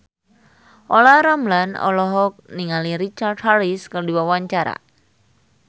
Olla Ramlan olohok ningali Richard Harris keur diwawancara